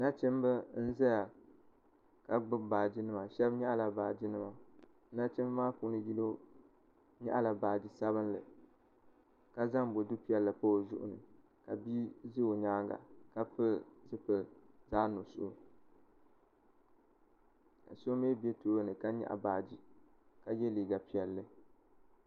Nachimba n zaya ka gbubi baaginima shɛbi nyaɣila baaginima nachimba maa puuni yino nyaɣila baagi sabinli ka zaŋ bodu piɛlli pa o zuɣu ni ka bii za o nyaaŋa ka pili zipili zaɣnuɣuso ka so mi be tooni ka nyaɣi baagi ka ye liiga piɛlli.